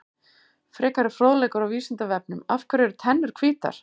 Frekari fróðleikur á Vísindavefnum: Af hverju eru tennur hvítar?